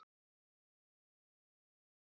Þær urðu snemma líkar, stöllurnar.